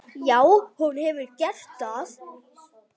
Já, hún hefur gert það.